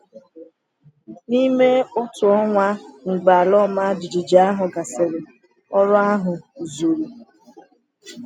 N’ime otu ọnwa mgbe ala ọma jijiji ahụ gasịrị, ọrụ ahụ zuru.